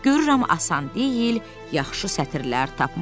Görürəm asan deyil yaxşı sətirlər tapmaq.